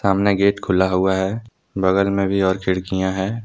सामने गेट खुला हुआ है बगल में भी और खिड़कियां है।